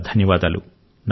అనేకానేక ధన్యవాదాలు